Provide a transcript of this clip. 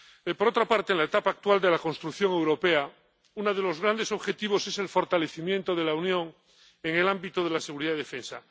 Por otra parte, en la etapa actual de la construcción europea, uno de los grandes objetivos es el fortalecimiento de la Unión en el ámbito de la seguridad y defensa.